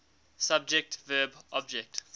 subject verb object